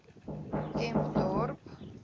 kempdorp